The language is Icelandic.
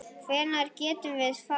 Hvenær getum við farið?